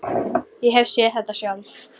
Ég hef séð þetta sjálf.